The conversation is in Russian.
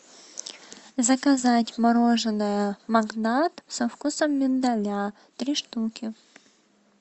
заказать мороженое магнат со вкусом миндаля три штуки